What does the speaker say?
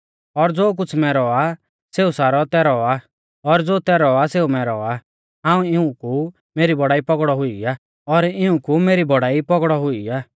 और ज़ो कुछ़ मैरौ आ सेऊ सारौ तैरौ आ और ज़ो तैरौ आ सेऊ मैरौ आ और इऊं कु मेरी बौड़ाई पौगड़ौ हुई आ